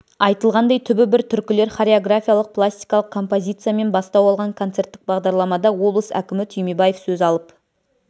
айтылғандай түбі бір түркілер хореографиялық-пластикалық композициясымен бастау алған концерттік бағдарламада облыс әкімі түймебаев сөз алып